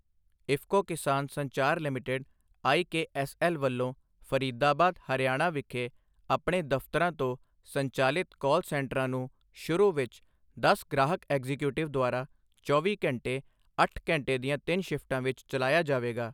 IFFCO Kisan Sanchar limited IKSL ਵੱਲੋਂ ਫਰੀਦਾਬਾਦ, ਹਰਿਆਣਾ ਵਿਖੇ ਆਪਣੇ ਦਫ਼ਤਰਾਂ ਤੋਂ ਸੰਚਾਲਿਤ ਕਾਲ ਸੈਂਟਰ ਨੂੰ ਸ਼ੁਰੂ ਵਿੱਚ ਦਸ ਗ੍ਰਾਹਕ ਐਗਜ਼ੀਕਿਊਟਿਵ ਦੁਆਰਾ ਚੌਵੀ ਘੰਟੇ ਅੱਠ ਘੰਟੇ ਦੀਆ ਤਿੰਨ ਸਿਫਟਾਂ ਵਿੱਚ ਚਲਾਇਆ ਜਾਵੇਗਾ।